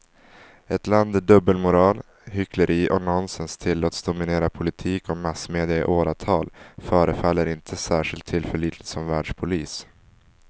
Ett land där dubbelmoral, hyckleri och nonsens tillåts dominera politik och massmedia i åratal förefaller inte särskilt tillförlitligt som världspolis.